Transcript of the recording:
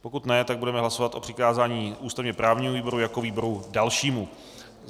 Pokud ne, tak budeme hlasovat o přikázání ústavně právnímu výboru jako výboru dalšímu.